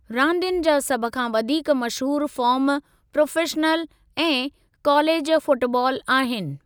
रांदियुनि जा सभ खां वधीक मशहूर फ़ार्म प्रोफ़ेशनल ऐं कालेजु फ़ुटबाल आहिनि।